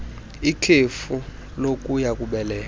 ikhefu lokuya kubeleka